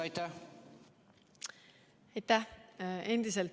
Aitäh!